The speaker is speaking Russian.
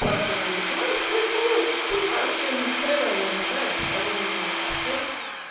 профильную математику если я что-то понимаю что я ни хрена не решаю абсолютную совсем